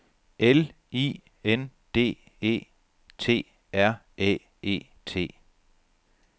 L I N D E T R Æ E T